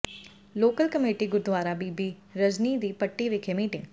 local committee gurdwara ਬੀਬੀ ਰਜ਼ਨੀ ਜੀ ਪੱਟੀ ਵਿਖੇ meeting